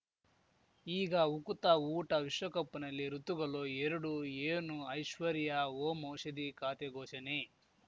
ಈಗ ಉಕುತ ಊಟ ವಿಶ್ವಕಪ್‌ನಲ್ಲಿ ಋತುಗಳು ಎರಡು ಏನು ಐಶ್ವರ್ಯಾ ಓಂ ಔಷಧಿ ಖಾತೆ ಘೋಷಣೆ